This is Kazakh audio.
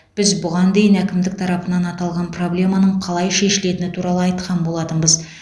біз бұған дейін әкімдік тарапынан аталған проблеманың қалай шешілетіні туралы айтқан болатынбыз